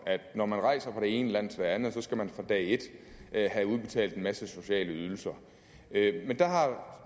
at når man rejser fra det ene land til det andet skal man fra dag et have udbetalt en masse sociale ydelser men der har